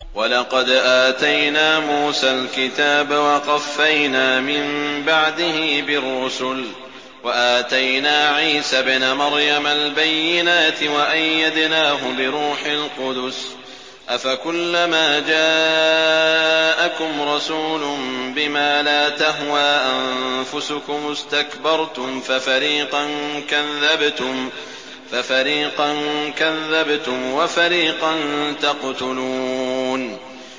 وَلَقَدْ آتَيْنَا مُوسَى الْكِتَابَ وَقَفَّيْنَا مِن بَعْدِهِ بِالرُّسُلِ ۖ وَآتَيْنَا عِيسَى ابْنَ مَرْيَمَ الْبَيِّنَاتِ وَأَيَّدْنَاهُ بِرُوحِ الْقُدُسِ ۗ أَفَكُلَّمَا جَاءَكُمْ رَسُولٌ بِمَا لَا تَهْوَىٰ أَنفُسُكُمُ اسْتَكْبَرْتُمْ فَفَرِيقًا كَذَّبْتُمْ وَفَرِيقًا تَقْتُلُونَ